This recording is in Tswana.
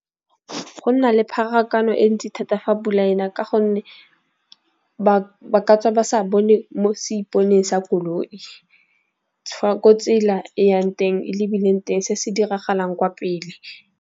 Go nna le pharakano e ntsi thata fa pula ena, ka gonne ba ba sa bone mo seiponeng sa koloi, fa kwa tsela e yang teng e lebileng teng se se diragalang kwa pele.